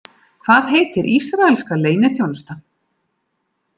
Hvað heitir ísraelska leyniþjónustan?